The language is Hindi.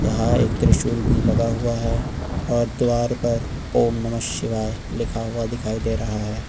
यहां एक त्रिशूल भी लगा हुआ है और द्वार पर ओम नमः शिवाय लिखा हुआ दिखाई दे रहा है।